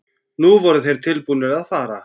Nú voru þeir tilbúnir að fara.